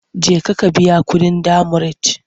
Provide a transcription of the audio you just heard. Jeka ka biya kuɗin demurej!